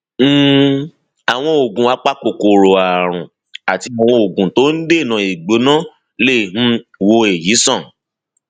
um àwọn oògùn apakòkòrò ààrùn àti àwọn oògùn tó ń dènà ìgbóná lè um wo èyí sàn